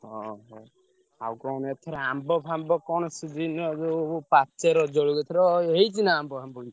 ଅହୋ ଆଉ କଣ ଏଥର ଆମ୍ବ ଫାମ୍ବ କଣ season ଏବେ ଯୋଉ ପାଚେ ରଜ ବେଳକୁ ଏଥର ହେଇଛି ନା ଆମ୍ବ ଫାମ୍ବ କିଛି?